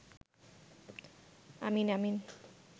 আমিন আমিন